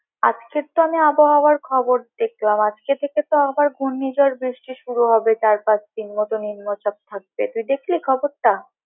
আজকে তো আমি আবহাওয়ার খবর দেখলাম আজকে থেকে তো আবার ঘূর্ণিঝড় বৃষ্টি শুরু হবে চার-পাঁচ দিন মতো নিম্নচাপ থাকবে তুই দেখলি খবরটা।